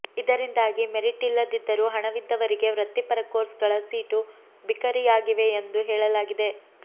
ಇದರಿಂದಾಗಿ ಮೆರಿಟ್ ಇಲ್ಲದಿದ್ದರೂ ಹಣವಿದ್ದವರಿಗೆ ವೃತ್ತಿಪರ ಕೋರ್ಸ್ ಗಳ ಸೀಟು ಬಿಕರಿಯಾಗಿವೆ ಎಂದು ಹೇಳಲಾಗಿದೆ